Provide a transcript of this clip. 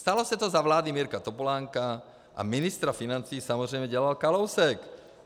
Stalo se to za vlády Mirka Topolánka a ministra financí samozřejmě dělal Kalousek.